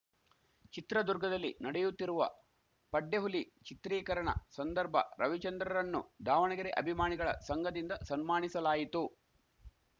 ಚಿತ್ರದುರ್ಗದಲ್ಲಿ ನಡೆಯುತ್ತಿರುವ ಪಡ್ಡೆಹುಲಿ ಚಿತ್ರೀಕರಣ ಸಂದರ್ಭ ರವಿಚಂದ್ರರನ್ನು ದಾವಣಗೆರೆ ಅಭಿಮಾಣಿಗಳ ಸಂಘದಿಂದ ಸನ್ಮಾಣಿಸಲಾಯಿತು